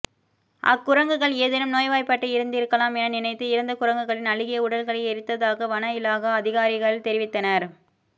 அக்குரங்குகள் ஏதேனும் நோய் வாய்ப்பாட்டு இருந்திருக்கலாம் என நினைத்து இறந்த குரங்குகளின் அழுகிய உடல்களை எரித்ததாக வன இலாகா அதிகாரிகள்தெரிவித்தனர்